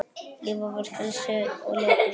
Lífið var frelsi og leikur.